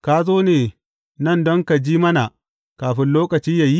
Ka zo ne nan don ka ji mana kafin lokaci yă yi?